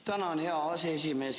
Tänan, hea aseesimees!